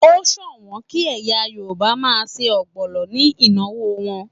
O ṣọwọ́n kí ẹ̀yà Yorùbá máa ṣe ọgbọnọ ní ìnáwó wọn.